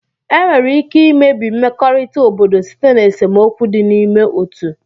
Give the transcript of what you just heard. Enwere ike imebi mmekọrịta obodo site na esemokwu dị n'ime otu.